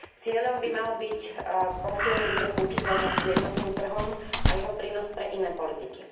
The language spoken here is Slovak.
Cieľom by malo byť posilniť jeho zlučiteľnosť s jednotným trhom a jeho prínos pre iné politiky.